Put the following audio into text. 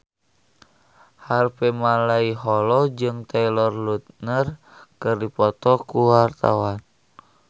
Harvey Malaiholo jeung Taylor Lautner keur dipoto ku wartawan